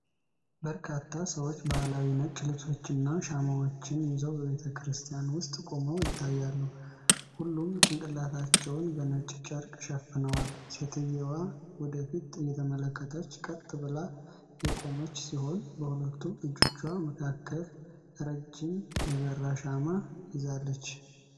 በርካታ ሰዎች ባህላዊ ነጭ ልብሶችንና ሻማዎችን ይዘው በቤተ ክርስቲያን ውስጥ ቆመው ይታያል። ሁሉም ጭንቅላታቸውን በነጭ ጨርቅ ሸፍነዋል። ሴትየዋ ወደ ፊት እየተመለከተች ቀጥ ብላ የቆመች ሲሆን በሁለቱም እጆቿ መካከል ረዥም የበራ ሻማ ይዛለች።